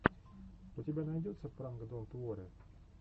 у тебя найдется пранк донт уорри